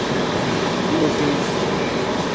Þannig hefðu trúarbrögðin komið til.